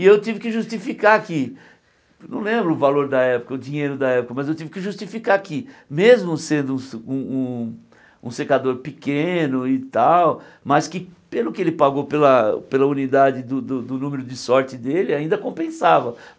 E eu tive que justificar que, não lembro o valor da época, o dinheiro da época, mas eu tive que justificar que, mesmo sendo um um um secador pequeno e tal, mas que pelo que ele pagou pela pela unidade do do do número de sorte dele, ainda compensava.